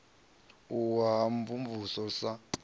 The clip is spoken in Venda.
u wa u mvumvusa sa